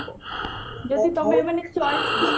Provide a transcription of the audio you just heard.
ଯଦି ତମେ ମାନେ